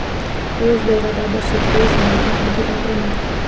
ऊस दराबाबत शेतकरी संघटना अधिक आक्रमक